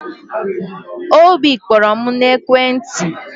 Obi kpọrọ m n'ekwentị